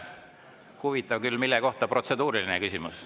Huvitav küll, mille kohta protseduuriline küsimus.